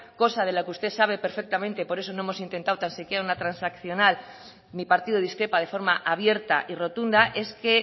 cosa de la que usted sabe perfectamente por eso no hemos intentado tan siquiera una transaccional mi partido discrepa de forma abierta y rotunda es que